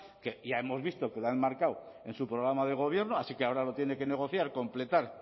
que ya hemos visto que lo ha enmarcado en su programa de gobierno así que ahora lo tiene que negociar completar